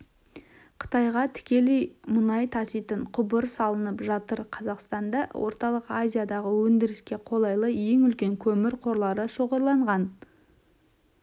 қытайға тікелей мұнай таситын құбыр салынып жатыр қазақстанда орталық азиядағы өндіріске қолайлы ең үлкен көмір қорлары шоғырланған